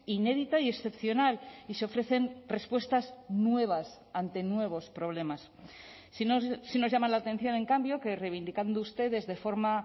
inédita y excepcional y se ofrecen respuestas nuevas ante nuevos problemas sí nos llama la atención en cambio que reivindicando ustedes de forma